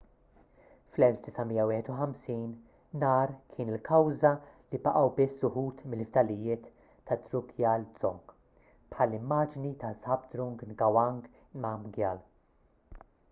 fl-1951 nar kien il-kawża li baqgħu biss uħud mill-fdalijiet tad-drukgyal dzong bħall-immaġni ta' zhabdrung ngawang namgyal